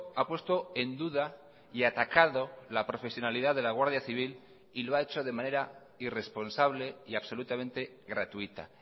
ha puesto en duda y atacado la profesionalidad de la guardia civil y lo ha hecho de manera irresponsable y absolutamente gratuita